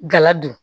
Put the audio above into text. Galadon